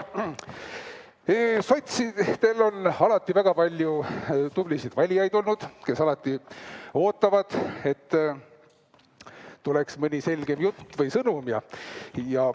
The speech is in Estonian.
Sotsid, teil on alati väga palju tublisid valijaid olnud, kes alati ootavad, et tuleks mõni selgem jutt või sõnum.